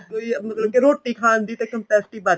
ਕੋਈ ਮਤਲਬ ਕੇ ਰੋਟੀ ਖਾਣ ਦੀ ਤਾਂ